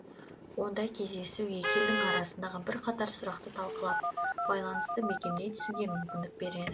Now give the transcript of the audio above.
ондай кездесу екі елдің арасындағы бірқатар сұрақты талқылап байланысты бекемдей түсуге мүмкіндік берер